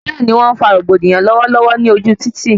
Bẹẹni, wọn fa rògbòdìyàn lọwọlọwọ ní ojú títì